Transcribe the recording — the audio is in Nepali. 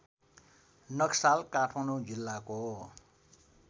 नक्साल काठमाडौँ जिल्लाको